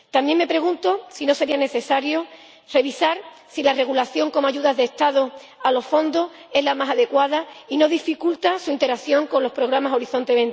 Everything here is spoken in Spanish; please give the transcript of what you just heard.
También me pregunto si no sería necesario revisar si la regulación como ayuda de Estado a los fondos es la más adecuada y no dificulta su interacción con los programas Horizonte